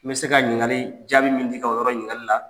N bɛ se ka ɲininkali jaabi min di i ka yɔrɔ ɲininkali la